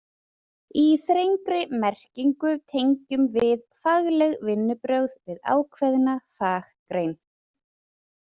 Í þrengri merkingu tengjum við fagleg vinnubrögð við ákveðna faggrein.